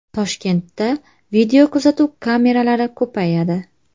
Toshkentda videokuzatuv kameralari ko‘payadi.